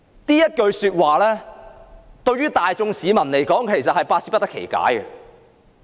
這句說話對於大眾市民來說是摸不着頭腦的。